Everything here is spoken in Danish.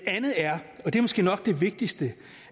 er måske nok det vigtigste